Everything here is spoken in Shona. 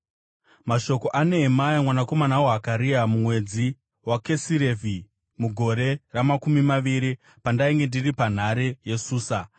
Mashoko aNehemia mwanakomana waHakaria: Mumwedzi waKisirevhi mugore ramakumi maviri, pandainge ndiri panhare yeSusa,